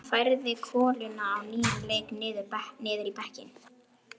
Hann færði koluna á nýjan leik niður í bekkinn.